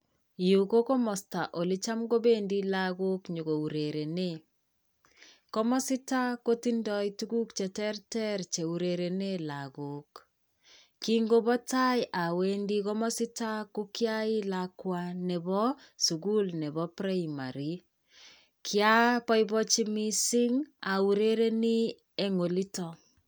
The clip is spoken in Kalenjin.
Yu ko komosta ole cham kobendi lagok nyokourerenen. Komositak kotindoi tuguk che terter cheurerenen lagok. Kingopo tai awendi komasitok ko kiyai lakwa nepoo sugul nepo Primary, ki aboiboichi missing aurereni en olitok.